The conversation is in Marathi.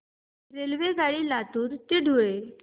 रेल्वेगाडी लातूर ते धुळे